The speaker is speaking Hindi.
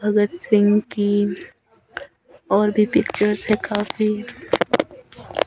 भगत सिंह की और भी पिक्चर्स है काफी।